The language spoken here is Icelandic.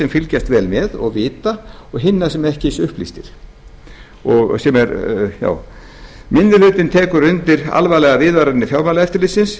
fylgjast vel með og vita og hinna sem ekki eru eins upplýstir minni hlutinn tekur undir alvarlegar viðvaranir fjármálaeftirlitsins